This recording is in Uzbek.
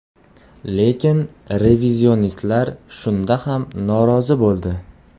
Lekin revizionistlar shunda ham norozi bo‘ldi.